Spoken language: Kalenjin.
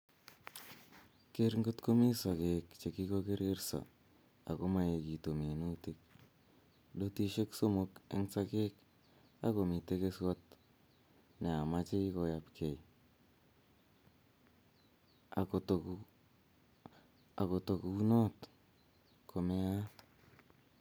Keer ngotkomi sokek chekikokererso ak komaegitu minutik, dotishek somok eng sokek ak komitei keswot neamachei koyapgei akotokunot komeaat